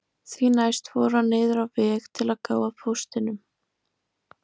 Því næst fór hann niður á veg til að gá að póstinum